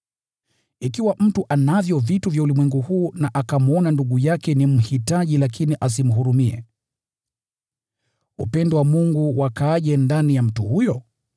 Ikiwa mtu anavyo vitu vya ulimwengu huu na akamwona ndugu yake ni mhitaji lakini asimhurumie, upendo wa Mungu wakaaje ndani ya mtu huyo?